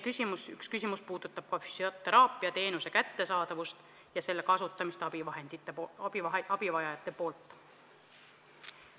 Üks meie küsimus puudutab ka füsioteraapiateenuse kättesaadavust ja selle kasutamist abivajajate poolt.